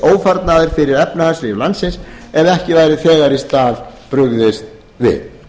mikils ófarnaðar fyrir efnahagslíf landsins ef ekki væri þegar í stað brugðist við